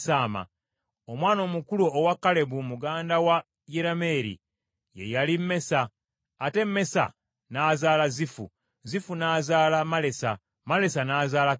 Omwana omukulu owa Kalebu muganda wa Yerameeri, ye yali Mesa, ate Mesa n’azaala Zifu. Zifu n’azaala Malesa, Malesa n’azaala Kebbulooni.